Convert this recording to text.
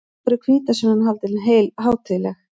Af hverju er hvítasunnan haldin hátíðleg?